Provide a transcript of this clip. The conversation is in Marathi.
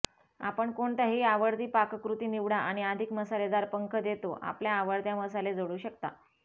आपण कोणत्याही आवडती पाककृती निवडा आणि अधिक मसालेदार पंख देतो आपल्या आवडत्या मसाले जोडू शकता